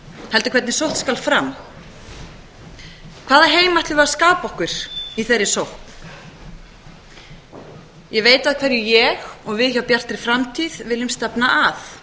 heldur hvernig sótt skal fram hvaða heim ætlum við að skapa okkur í þeirri sókn ég veit að hverju ég og við hjá bjartri framtíð viljum stefna